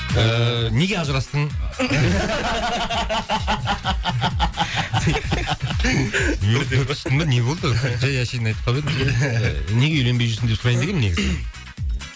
неге ажырастың не болды өзі жай әшейін айтып қалып едім ыыы неге үйленбей жүрсің деп сұрайын дегенмін негізі